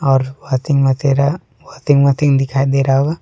और washing machine दिखाई दे रहा होगा।